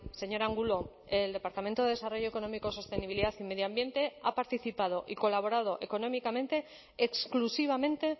señor angulo el departamento de desarrollo económico sostenibilidad y medio ambiente ha participado y colaborado económicamente exclusivamente